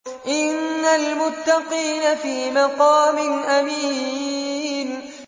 إِنَّ الْمُتَّقِينَ فِي مَقَامٍ أَمِينٍ